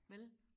Vel